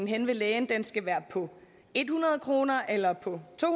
henne ved lægen skal være på hundrede kroner eller på to